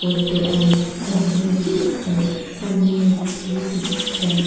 और तो अलमीरा भी दिख रहा है सामने में एक टी_वी दिख रहा है।